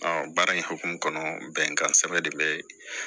baara in hokumu kɔnɔ bɛnkan sɛbɛn de bɛ